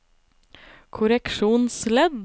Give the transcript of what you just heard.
korreksjonsledd